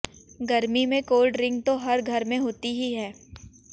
गर्मी में cold drink तो हर घर में होती ही है